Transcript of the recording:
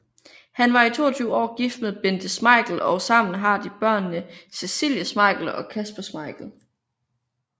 Han var i 22 år gift med Bente Schmeichel og sammen har de børnene Cecilie Schmeichel og Kasper Schmeichel